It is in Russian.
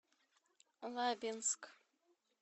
лабинск